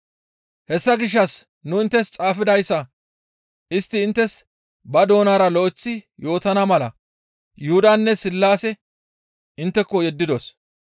Hessa gishshas nu inttes xaafidayssa istti inttes ba doonara lo7eththi yootana mala Yuhudanne Sillaase intteko yeddidos.